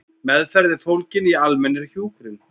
Meðferð er fólgin í almennri hjúkrun.